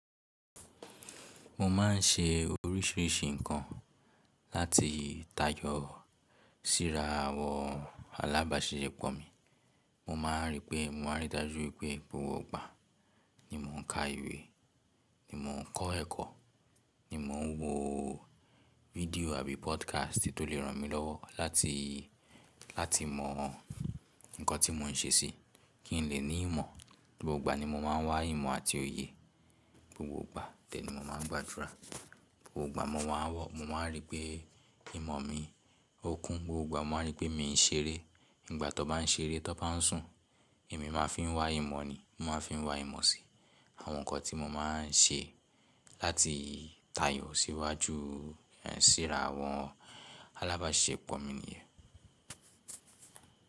Mo má n ṣe oríṣiríṣi ǹkan láti táyọ síra àwọn alábàáṣepọ̀ mi. Mo ma rí pé mo máa rí dájú pé gbogbo ìgbà ni mò ń ka ìwé, ni mò ń kọ́ ẹ̀kọ́, ni mò ń wo fídíò àbí podcast tó lè ràn mí lọ́wọ́ láti, láti mọ ǹkan tí mò ń ṣe sí, kí n lè ní ìmọ̀. Gbogbo ìgbà ni mo máa n wá ìmọ̀ àti òye, gbogbo ìgbà de ni mo máa ń gbàdúrà. Gbogbo ìgbà mo máa ń rí pé ìmọ̀ mi ó kún, gbogbo ìgbà mo máa ń rí pé mi ń ṣeré. Ìgbà tó bá ń ṣeré, tó bá ń sùn, èmi máa fi ń wá ìmọ̀ ni, mò máa fi ń wá ìmọ̀ sí àwọn nǹkan tí mo máa n ṣe láti táyọ síwájú, síra àwọn alábàáṣepọ̀ mi nìyẹn.